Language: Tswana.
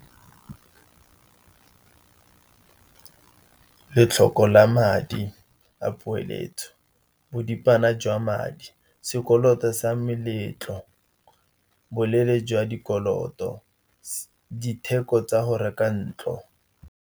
Lotlhoko la madi a poeletso, boripana jwa madi, sekoloto sa meletlo, boleele jwa dikoloto, ditheko tsa go reka ntlo.